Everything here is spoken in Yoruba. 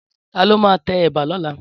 Tàló mà tè èbà lòlá?